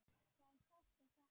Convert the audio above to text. Það er sárt að sakna.